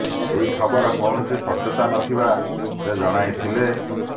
ଏହି ଖବର କୌଣସି ସତ୍ୟତା ନ ଥିବା ସେ ଜଣାଇଥିଲେ